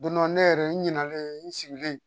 Don dɔ ne yɛrɛ n ɲinɛna n sigilen